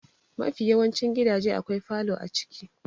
Mafi yawancin gidaje akwai falo a ciki.